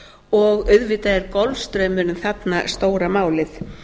og auðvitað er golfstraumurinn þarna stóra málið